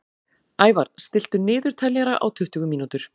Ævar, stilltu niðurteljara á tuttugu mínútur.